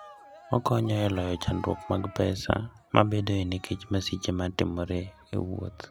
Okonyo e loyo chandruok mag pesa mabedoe nikech masiche ma timore e wuoth.